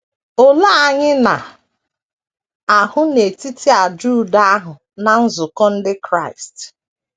Olee anyị na - ahụ n’etiti àjà udo ahụ na nzukọ ndị Kraịst?